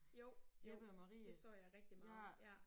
Jo jo det så jeg rigtig meget ja